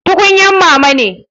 Tukunyan mama ne.